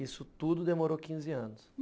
Isso tudo demorou quinze anos?